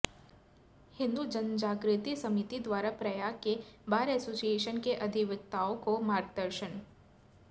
हिन्दू जनजागृति समिति द्वारा प्रयाग के bar association के अधिवक्ताओं को मार्गदर्शन